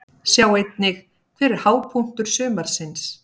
Sjá einnig: Hver er hápunktur sumarsins?